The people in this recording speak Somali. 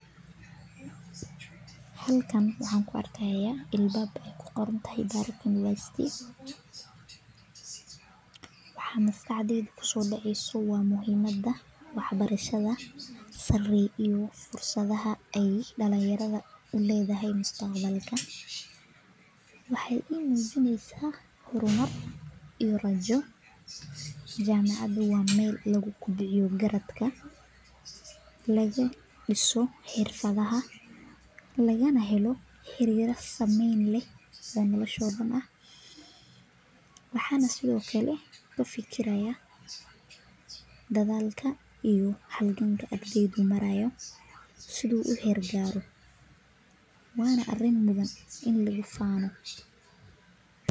Halkan waxaan ku arkaya albaab aaya ku qoran tahay jamacada waxaa maskaxdeyda kusoo dacaaya mujiimada wax barashada jamacada waa meel lagu diso nolosha lagana helo waxyaaba badan waana arin mudan in lagu faano.